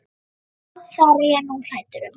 Já, það er ég nú hræddur um.